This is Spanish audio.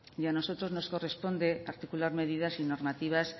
y a nosotros nos corresponde articular medidas y normativas